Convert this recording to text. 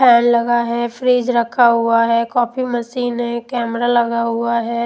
Fan लगा है fridge रखा हुआ है कॉफि मशीन है कैमरा लगा हुआ है।